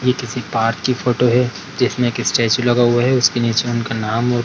ये किसी पार्क की फोटो है जिसमे एक स्टेचू लगा हुआ है उसके नीचे उनका नाम औ --